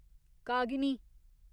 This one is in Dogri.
कागिनी